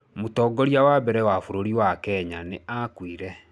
Mũtongoria wa mbere wa bũrũri wa Kenya nĩ aakuire.